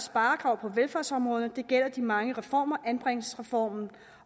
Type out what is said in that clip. sparekrav på velfærdsområderne det gælder de mange reformer anbringelsesreformen